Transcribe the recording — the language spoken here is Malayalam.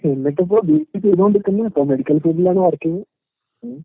എന്നിട്ടിപ്പോ ബി എസ് സി ചെയ്തോണ്ട്ക്ക്ന്ന്, ഇപ്പൊ മെഡിക്കൽ ഫീൽഡിലാണ് വർക്കിംഗ്. ഉം.